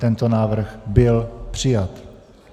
Tento návrh byl přijat.